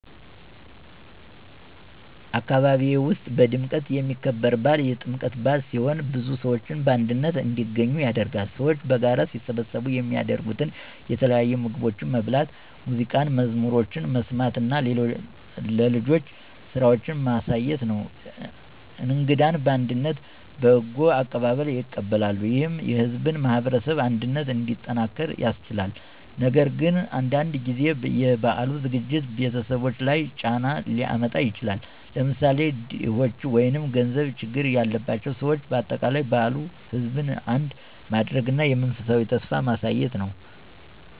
አካባቢዬ ውስጥ በድምቀት የሚከበር በዓል የጥምቀት በአል ሲሆን ብዙ ሰዎች በአንድነት እንዲገኙ ያደርጋል። ሰዎች በጋራ ሲሰበሰቡ የሚያደርጉት የተለያዩ ምግቦችን መብላት፣ ሙዚቃና መዝሙሮችን መስማት እና ለልጆች ስራዎችን ማሳየት ነው። እንግዳን በአንድነት በጎ አቀባበል ይቀበላሉ፣ ይህም የሕዝብን ማህበረሰብ አንድነት እንዲጠናክር ያስችላል። ነገር ግን አንዳንድ ጊዜ የበዓሉ ዝግጅት ቤተሰቦች ላይ ጫና ሊያመጣ ይችላል፣ ለምሳሌ ድኾች ወይም ገንዘብ ችግር ያላቸው ሰዎች። በአጠቃላይ በዓሉ ሕዝብን አንድ ማድረግ እና የመንፈሳዊ ተስፋ ማሳየት ነው።